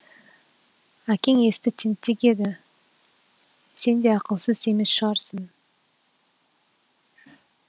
әкең есті тентек еді сен де ақылсыз емес шығарсың